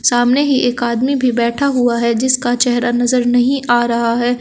सामने ही एक आदमी भी बैठा हुआ है जिसका चेहरा नजर नहीं आ रहा है।